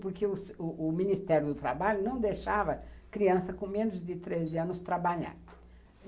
Porque o Ministério do Trabalho não deixava criança com menos de treze anos trabalhar.